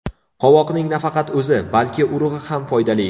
Qovoqning nafaqat o‘zi, balki urug‘i ham foydali.